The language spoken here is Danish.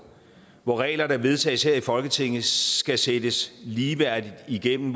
hvor regler der vedtages her i folketinget skal sættes ligeværdigt igennem